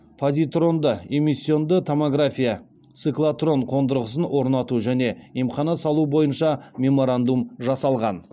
позитронды эмиссионды томография циклотрон қондырғысын орнату және емхана салу бойынша меморандум жасалған